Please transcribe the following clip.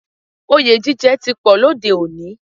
Òye jíjẹ ti pọ̀ lóde òní